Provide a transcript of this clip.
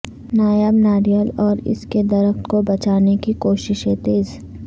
نایاب ناریل اور اس کے درخت کو بچانے کی کوششیں تیز